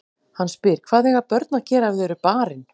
Hann spyr: Hvað eiga börn að gera ef þau eru barin?